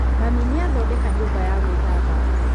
mami nĩathodeka nyũmba ya gwĩthamba